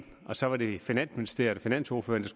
og så var det finansministeriet og finansordførerne